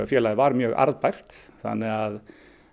félagið var mjög arðbært þannig að